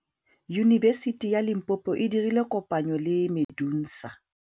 Yunibesiti ya Limpopo e dirile kopanyô le MEDUNSA.